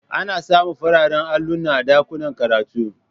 Ana samun fararen alluna a ɗakunan karatu